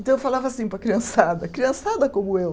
Então eu falava assim para a criançada, criançada como eu